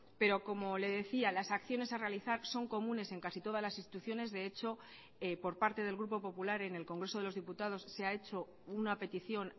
pero como le decía las acciones a realizar son comunes en casi todas las instituciones de hecho por parte del grupo popular en el congreso de los diputados se ha hecho una petición